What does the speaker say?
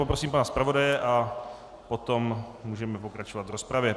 Poprosím pana zpravodaje a potom můžeme pokračovat v rozpravě.